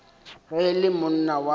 ge e le monna wa